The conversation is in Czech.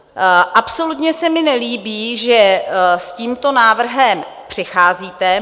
Absolutně se mi nelíbí, že s tímto návrhem přicházíte.